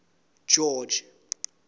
george